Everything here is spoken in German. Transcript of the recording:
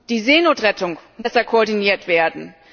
Die Seenotrettung muss besser koordiniert werden.